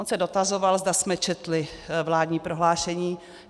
On se dotazoval, zda jsme četli vládní prohlášení.